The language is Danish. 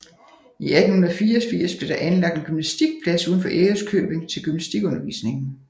I 1884 blev der anlagt en gymnastikplads uden for Ærøskøbing til gymnastikundervisningen